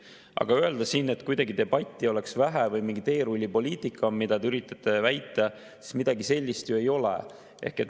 Aga öelda, et kuidagi debatti oleks vähe või mingi teerullipoliitika, mida te üritate väita, siis midagi sellist ju ei ole.